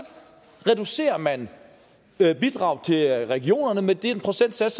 reducerer man bidraget til regionerne med den procentsats